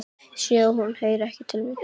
Sé að hún heyrir ekki til mín.